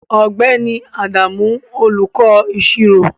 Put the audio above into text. Ọ̀gbẹ́ni Adamu olùkọ́ Ìṣirò